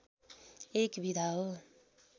एक विधा हो